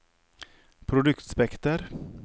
produktspekter